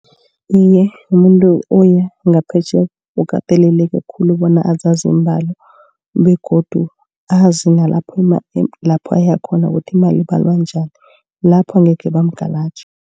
Iye umuntu oya ngaphetjheya ukateleleke khulu bona azazi iimbalo begodu azi nalapho lapho uyakhona ukuthi imali ibalwa njani. Lapho angekhe bamugalaje.